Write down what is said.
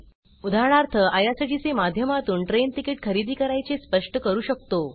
उदाहरणार्थ आयआरसीटीसी माध्यमातून train ticket खरेदी करायचे स्पष्ट करू शकतो